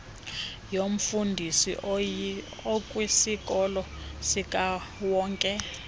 yomfundi okwisikolo sikawonke